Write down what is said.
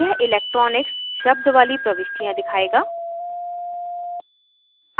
यह electronics शब्द वाली प्रविष्टियाँ दिखायेगा